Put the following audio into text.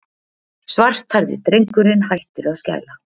Svarthærði drengurinn hættir að skæla.